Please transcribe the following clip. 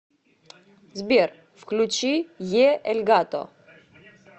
сбер включи е эль гато